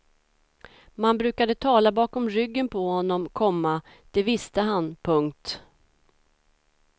Man brukade tala bakom ryggen på honom, komma det visste han. punkt